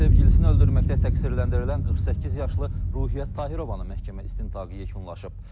Sevgilisini öldürməkdə təqsirləndirilən 48 yaşlı Ruhiyyət Tahirovanın məhkəmə istintaqı yekunlaşıb.